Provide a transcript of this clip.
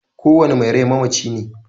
Kowane mai rai mamaci ne.